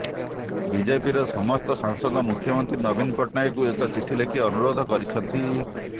ବିଜେପିର ସମସ୍ତ ସାଂସଦ ମୁଖ୍ୟମନ୍ତ୍ରୀ ନବୀନ ପଟ୍ଟନାୟକଙ୍କୁ ଏକ ଚିଠି ଲେଖି ଅନୁରୋଧ କରିଛନ୍ତି